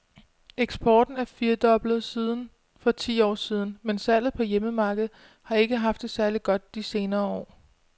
Eksporten er firdoblet siden for ti år siden , men salget på hjemmemarkedet har ikke haft det særlig godt de senere år.